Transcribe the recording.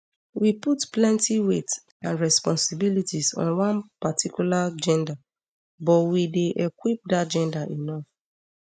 we put plenti weight and responsibilities on one particular gender but we dey equip dat gender enough